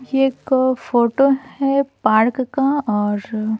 ये एक फोटो है पार्क का और--